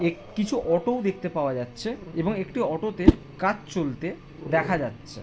এক কিছু অটো ও দেখতে পাওয়া যাচ্ছে এবং একটি অটো তে কাজ চলতে দেখা যাচ্ছে। .